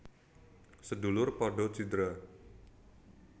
Sedulur padha cidra